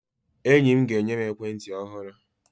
Enyi m ga-enye m ekwentị ọhụrụ.